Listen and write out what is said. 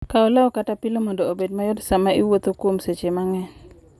Kaw law kata pilo mondo obed mayot sama iwuotho kuom seche mang'eny.